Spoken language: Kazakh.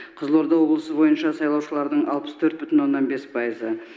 қызылорда облысы бойынша сайлаушылардың алпыс төрт бүтін оннан төрт пайызы